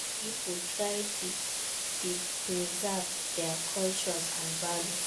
Make young pipo try de preserve their cultures and values